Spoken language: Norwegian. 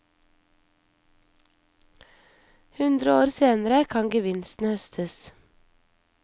Hundre år senere kan gevinsten høstes.